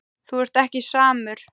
Þú ert ekki samur.